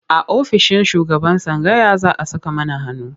A ofishin shugaban tsangaya za a saka mana hannu.